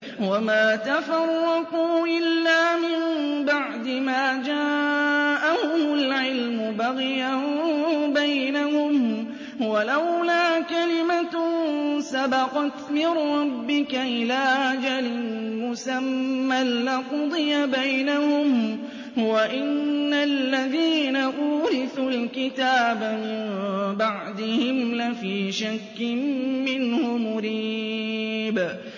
وَمَا تَفَرَّقُوا إِلَّا مِن بَعْدِ مَا جَاءَهُمُ الْعِلْمُ بَغْيًا بَيْنَهُمْ ۚ وَلَوْلَا كَلِمَةٌ سَبَقَتْ مِن رَّبِّكَ إِلَىٰ أَجَلٍ مُّسَمًّى لَّقُضِيَ بَيْنَهُمْ ۚ وَإِنَّ الَّذِينَ أُورِثُوا الْكِتَابَ مِن بَعْدِهِمْ لَفِي شَكٍّ مِّنْهُ مُرِيبٍ